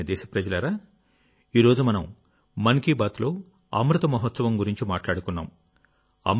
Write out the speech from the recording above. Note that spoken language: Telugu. నా ప్రియమైన దేశప్రజలారాఈరోజు మనం మన్ కీ బాత్లో అమృత మహోత్సవం గురించి మాట్లాడుకున్నాం